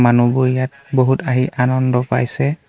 মানুহবোৰ ইয়াত বহুত আহি আনন্দ পাইছে।